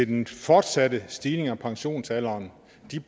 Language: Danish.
den fortsatte stigning i pensionsalderen